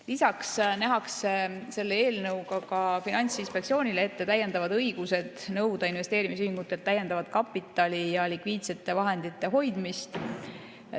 Lisaks nähakse selle eelnõuga ka Finantsinspektsioonile ette õigused nõuda investeerimisühingutelt täiendavat kapitali ja likviidsete vahendite hoidmist.